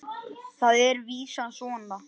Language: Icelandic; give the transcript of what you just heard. Þar er vísan svona